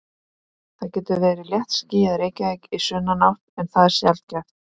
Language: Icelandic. Það getur verið léttskýjað í Reykjavík í sunnanátt en það er sjaldgæft.